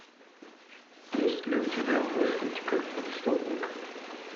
есть ли у тебя мыслить как преступник